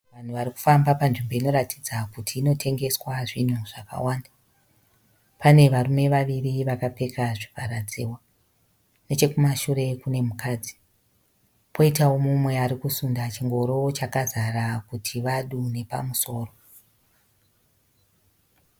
Vanhu vari kufamba panzvimbo inoratidza kuti inotengeswa zvinhu zvakawanda. Pane varume vaviri vakapfeka zvivharadziwa. Nechokumashure kune mukadzi, poitawo mumwe ari kusunda chingoro chakazara kuti vadu nepamusoro.